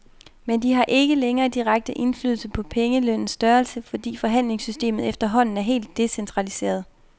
Men de har ikke længere direkte indflydelse på pengelønnens størrelse, fordi forhandlingssystemet efterhånden er helt decentraliseret.